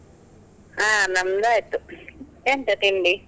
ಹಾ ನಮ್ದಾಯ್ತು, ಎಂತ ತಿಂಡಿ?